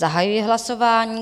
Zahajuji hlasování.